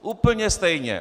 Úplně stejně.